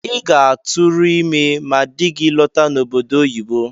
I ga-atụrụ ime ma dị gị lọta n’obodo oyibo